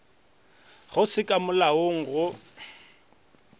go se ka molaong go